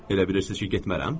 Elə bilirsiz ki, getmərəm?